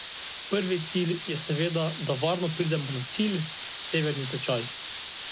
Prvi cilj je seveda, da varno pridemo na cilj, severni tečaj.